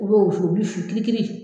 U b'o wusu o bi fin kirikiri